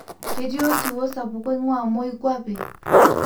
keeti osiwuo sapuk oingua moikwape